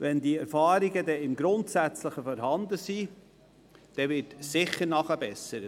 Nachdem grundsätzliche Erfahrungen gemacht werden konnten, gibt es sicher Nachbesserungen.